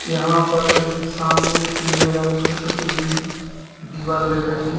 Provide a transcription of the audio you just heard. यहां पर एक सामने पीले रंग से पोती हुई दीवाल दिख रही है।